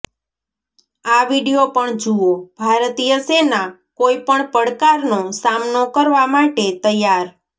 આ વીડિયો પણ જુઓઃ ભારતીય સેના કોઈપણ પડકારનો સામનો કરવા માટે તૈયાર